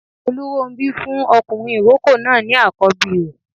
Olúrónbí fún ọkùnrin ìrókò náà ní àkọ́bí rẹ̀